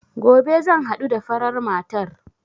Gobe zan haɗu da farar matar